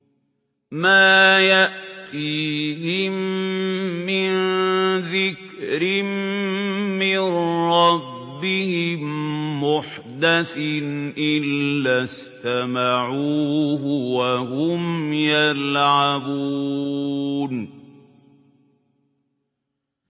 مَا يَأْتِيهِم مِّن ذِكْرٍ مِّن رَّبِّهِم مُّحْدَثٍ إِلَّا اسْتَمَعُوهُ وَهُمْ يَلْعَبُونَ